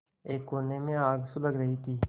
एक कोने में आग सुलग रही थी